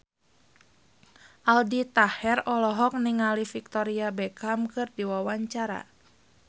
Aldi Taher olohok ningali Victoria Beckham keur diwawancara